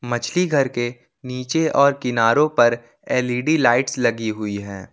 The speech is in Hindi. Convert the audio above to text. मछली घर के नीचे और किनारो पर एल_इ_डी लाइट्स लगी हुई है।